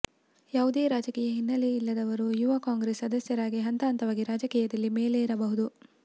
ಯಾವುದೇ ರಾಜಕೀಯ ಹಿನ್ನೆಲೆ ಇಲ್ಲದವರು ಯುವ ಕಾಂಗ್ರೆಸ್ ಸದಸ್ಯರಾಗಿ ಹಂತ ಹಂತವಾಗಿ ರಾಜಕೀಯದಲ್ಲಿ ಮೇಲೆರಬಹುದು